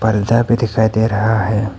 भी दिखाई दे रहा है।